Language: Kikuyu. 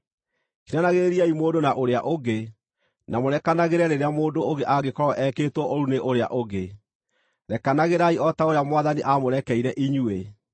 Kiranagĩrĩriai mũndũ na ũrĩa ũngĩ, na mũrekanagĩre rĩrĩa mũndũ angĩkorwo ekĩtwo ũũru nĩ ũrĩa ũngĩ. Rekanagĩrai o ta ũrĩa Mwathani aamũrekeire inyuĩ.